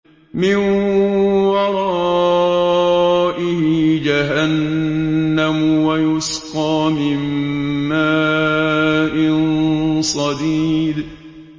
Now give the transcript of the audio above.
مِّن وَرَائِهِ جَهَنَّمُ وَيُسْقَىٰ مِن مَّاءٍ صَدِيدٍ